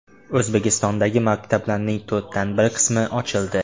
O‘zbekistondagi maktablarning to‘rtdan bir qismi ochildi.